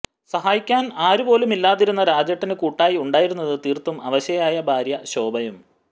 സഹായിക്കാൻ ആരു പോലും ഇല്ലാതിരുന്ന രാജേട്ടന് കുട്ടായി ഉണ്ടായിരുന്നത് തീർത്തും അവശയായ ഭാര്യ ശോഭയും